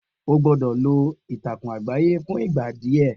O gbọ́dọ̀ lọ ìtàkùn àgbáyé fún ìgbà díẹ̀